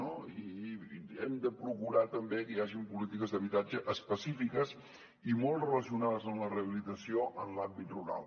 i hem de procurar també que hi hagin polítiques d’habitatge específiques i molt relacionades amb la rehabilitació en l’àmbit rural